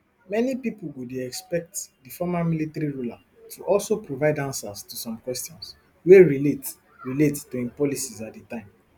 many pipo go dey expect di former military ruler to also provide ansas to some questions wey relate relate to im policies at di time